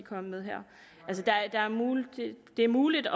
kom med her det er muligt